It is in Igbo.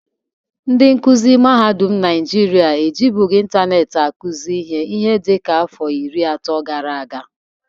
Ndị nkụzị mahadụm Naịjịrịa ejibughii ịntaneetị akụzị ihe ihe dịka afọ iri atọ gara aga.